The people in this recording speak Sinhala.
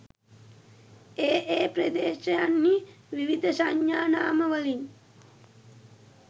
ඒ ඒ ප්‍රදේශයන්හි විවිධ සංඥානාමවලින්